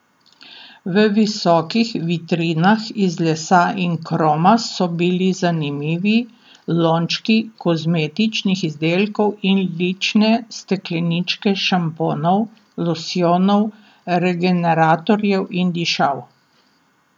V visokih vitrinah iz lesa in kroma so bili zanimivi lončki kozmetičnih izdelkov in lične stekleničke šamponov, losjonov, regeneratorjev in dišav.